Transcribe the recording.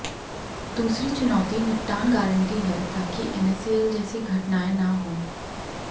दूसरी चुनौती निपटान गारंटी है ताकि एनएसईएल जैसी घटनाएं न हों